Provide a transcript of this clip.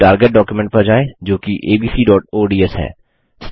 अब target document पर जाएँ जोकि abcओडीएस है